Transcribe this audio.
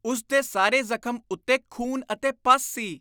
ਉਸ ਦੇ ਸਾਰੇ ਜ਼ਖ਼ਮ ਉੱਤੇ ਖੂਨ ਅਤੇ ਪਸ ਸੀ।